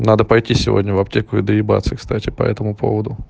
надо пойти сегодня в аптеку и доебаться кстати по этому поводу